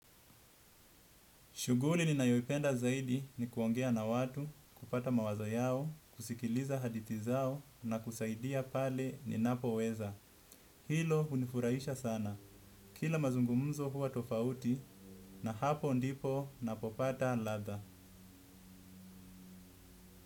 Shuguli ninayoipenda zaidi ni kuongea na watu, kupata mawazo yao, kusikiliza hadithi zao na kusaidia pale ninapoweza. Hilo hunifurahisha sana. Kila mazungumzo huwa tofauti, na hapo ndipo napopata ladha.